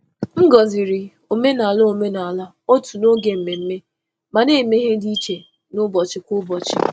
M gọ̀zìrì omenala òtù n’oge mmemme, ma na-eme ihe dị iche n’ụbọchị kwa ụbọchị.